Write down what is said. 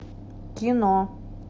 кино